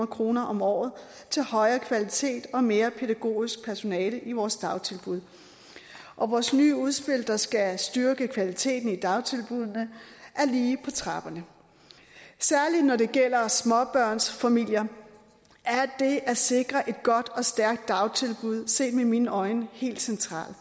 kroner om året til højere kvalitet og mere pædagogisk personale i vores dagtilbud og vores nye udspil der skal styrke kvaliteten i dagtilbuddene er lige på trapperne særlig når det gælder småbørnsfamilier er det at sikre et godt og stærkt dagtilbud set med mine øjne helt centralt